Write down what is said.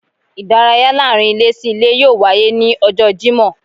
Idàráyá laarin ilé sí ìlé yóò waye ni ọjọ Jimọ